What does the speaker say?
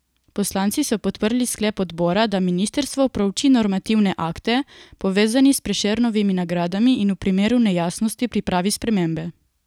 Poslanci so podprli sklep odbora, da ministrstvo prouči normativne akte, povezane s Prešernovimi nagradami, in v primeru nejasnosti pripravi spremembe.